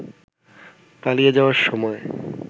পালিয়ে যাওয়ার সময়